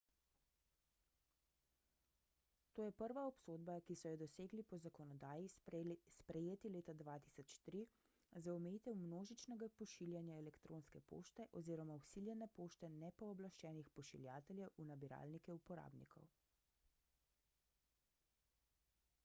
to je prva obsodba ki so jo dosegli po zakonodaji sprejeti leta 2003 za omejitev množičnega pošiljanja elektronske pošte oziroma vsiljene pošte nepooblaščenih pošiljateljev v nabiralnike uporabnikov